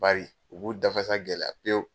Bari u b'u dafasa gɛlɛya pewu.